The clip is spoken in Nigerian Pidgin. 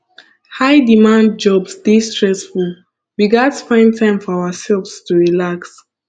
high demand jobs dey stressful we gats find time for ourselves to relax